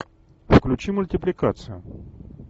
включи мультипликацию